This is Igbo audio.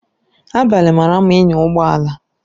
Abalị mara mma ịnya ụgbọ ala